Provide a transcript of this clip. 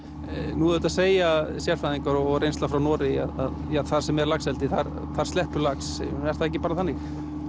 nú auðvitað segja sérfræðingar og reynsla frá Noregi að þar sem er laxeldi þar þar sleppur lax er það ekki bara þannig